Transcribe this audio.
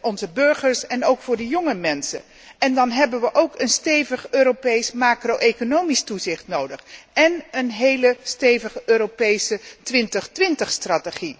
onze burgers en ook voor de jonge mensen en dan hebben we ook een stevig Europees macro economisch toezicht nodig en een heel stevige Europese 2020 strategie.